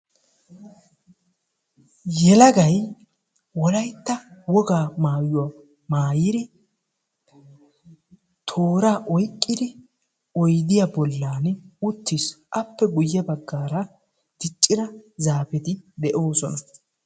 yelagay wolayitta wogaa mayyuwa mayyidi tooraa oyikkidi oyidiya bollan uttis. appe guyye baggan diccida zaafeti de'oosona.